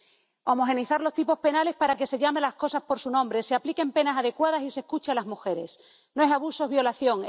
necesitamos homogeneizar los tipos penales para que se llame a las cosas por su nombre, se apliquen penas adecuadas y se escuche a las mujeres ¡No es abuso, es violación!,